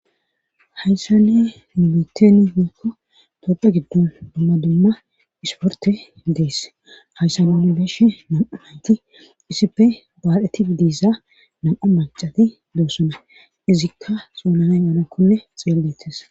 hayssan nu biteni woykko toopphe giddon dumma dumma isporte dees hayssa nuni beeshe nam7a nayti isippe baadheti idisa nam7a macati doosona izikka xoonanay onakonne xeellettes